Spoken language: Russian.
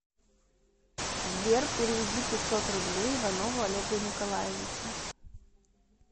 сбер переведи пятьсот рублей иванову олегу николаевичу